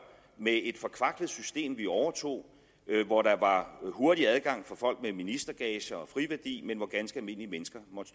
med et forkvaklet system vi overtog hvor der var hurtig adgang for folk med ministergager og friværdi men hvor ganske almindelige mennesker måtte